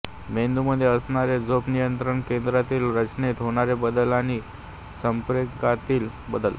मेंदूमध्ये असणारे झोप नियंत्रण केंद्रातील रचनेत होणारे बदल आणि संप्रेरकांतील बदल